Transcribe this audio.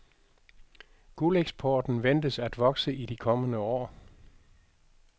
Guldeksporten ventes at vokse i de kommende år.